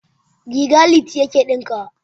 Riga Liti yake ɗinkawa.